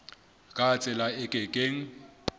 ka tsela e ke keng